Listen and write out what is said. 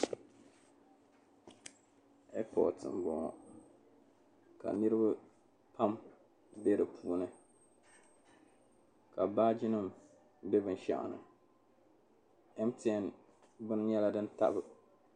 "Airport" m-bɔŋɔ ka niriba pam be di puuni ka baajinima be binshɛɣu ni mtn beni nyɛla din tabi.